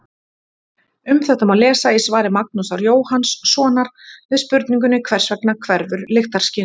Um þetta má lesa í svari Magnúsar Jóhannssonar við spurningunni Hvers vegna hverfur lyktarskynið?